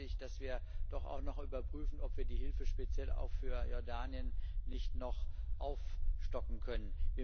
Daher bitte ich, dass wir doch auch noch überprüfen, ob wir die Hilfe speziell auch für Jordanien nicht noch aufstocken können.